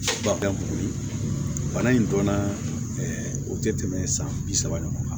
boli in donna o tɛ tɛmɛ san bi saba ɲɔgɔn kan